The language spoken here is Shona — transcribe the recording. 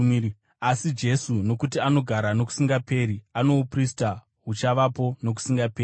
asi Jesu, nokuti anogara nokusingaperi, ano uprista huchavapo nokusingaperi.